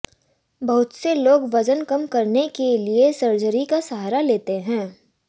बहुत से लोग वजन कम करने के लिऐ सर्जरी का सहारा लेते हैं